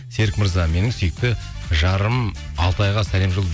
серік мырза менің сүйікті жарым алтайға сәлем